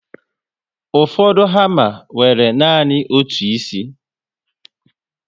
Ụfọdụ hama nwere nanị otu ísì